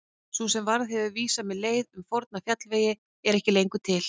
Sú varða sem hefur vísað mér leið um forna fjallvegi er ekki lengur til.